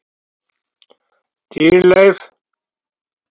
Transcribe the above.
Dýrleif